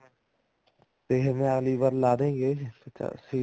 ਅਗਲੀ ਵਾਰ ਲਾਦੇਂਗੇ ਪਚਾਸੀ